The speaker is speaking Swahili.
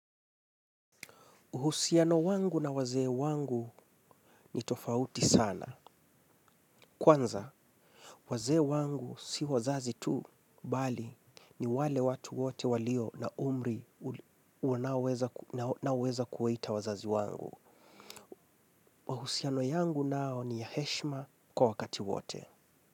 Uhusiano wangu na wazee wangu ni tofauti sana. Kwanza, wazee wangu si wazazi tu, bali, ni wale watu wote walio na umri naouweza kuwaita wazazi wangu. Mahusiano yangu nao ni ya heshima kwa wakati wote.